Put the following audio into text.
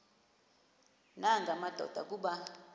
nanga madoda kuba